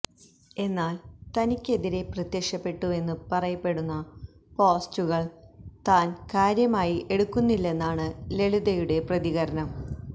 എന്നാല് തനിക്ക് എതിരെ പ്രത്യക്ഷപ്പെട്ടുവെന്ന് പറയപ്പെടുന്ന പോസ്റ്ററുകള് താന് കാര്യമായി എടുക്കുന്നില്ലെന്നാണ് ലളിതയുടെ പ്രതികരണം